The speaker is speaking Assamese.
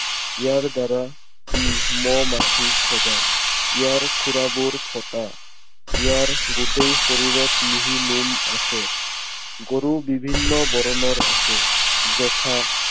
ইয়াৰ দ্বাৰা ই মহ, মাখি খেদায়। ইয়াৰ খুড়াবোৰ ফটা। ইয়াৰ গোটেই শৰীৰত মিহি নোম আছে। গৰু বিভিন্ন বৰণৰ আছে, যথা